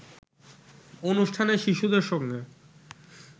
অনুষ্ঠানে শিশুদের সঙ্গে